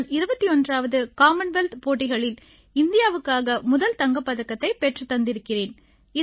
நான் 21ஆம் காமன்வெல்த் போட்டிகளில் இந்தியாவுக்காக முதல் தங்கப் பதக்கத்தைப் பெற்றுத் தந்திருக்கிறேன்